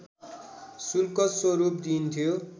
शुल्क स्वरूप दिइन्थ्यो